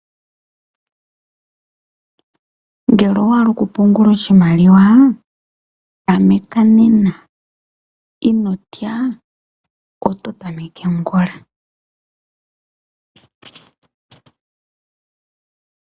Ngele owa hala okupungula oshimaliwa tameka nena inotya oto tameke ongula .